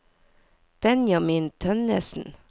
Benjamin Tønnesen